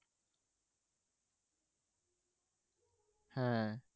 হ্যাঁ।